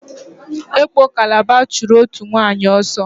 Ekpo Kalaba chụrụ òtù nwaanyị ọsọ.